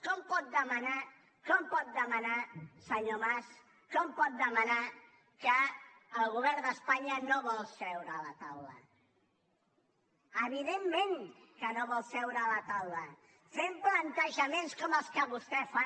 com pot demanar senyor mas com pot demanar que el govern d’espanya no vol seure a la taula evidentment que no vol seure a la taula fent plantejaments com els que vostè fa